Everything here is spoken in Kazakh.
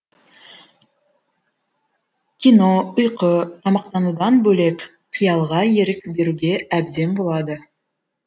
кино ұйқы тамақтанудан бөлек қиялға ерік беруге әбден болады